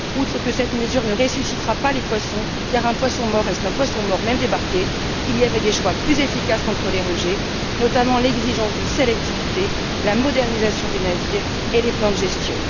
Outre que cette mesure ne ressuscitera pas les poissons car un poisson mort reste un poisson mort, même débarqué il y avait des choix plus efficaces contre les rejets, notamment l'exigence de sélectivité, la modernisation des navires et les plans de gestion.